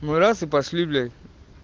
ну раз и пошли блять